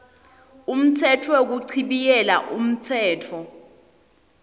umtsetfo wekuchibiyela umtsetfo